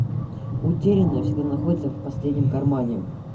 утерянное всегда находите в последнем кармане